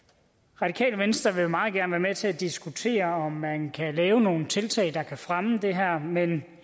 radikale venstre vil meget gerne være med til at diskutere om man kan lave nogle tiltag der kan fremme det her men